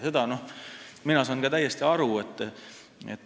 Ma saan sellest ka täiesti aru.